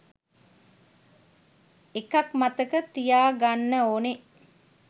එකක් මතක තියාගන්න ඕනේ